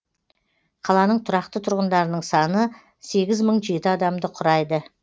қаланың тұрақты тұрғындарының саны сегіз мың жеті адамды құрайды